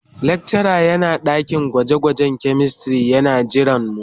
Lecturer yana dakin gwaje-gwajen chemistry yana jiranmu.